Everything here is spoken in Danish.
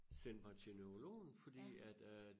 Sendte mig til neurologen fordi at øh